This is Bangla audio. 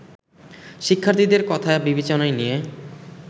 শিক্ষার্থীদের কথা বিবেচনায় নিয়ে